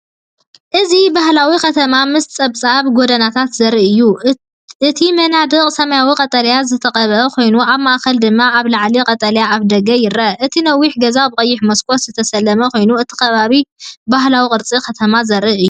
እዚ ባህላዊ ከተማ ምስ ጸበብቲ ጎደናታት ዘርኢ እዩ። እቲ መናድቕ ሰማያውን ቀጠልያን ዝተቐብአ ኮይኑ፡ ኣብ ማእከል ድማ ኣብ ላዕሊ ቀጠልያ ኣፍደገ ይርአ። እቲ ነዊሕ ገዛ ብቐይሕ መስኮት ዝተሰለመ ኮይኑ፡ እቲ ከባቢ ባህላዊ ቅርጺ ከተማ ዘርኢ እዩ።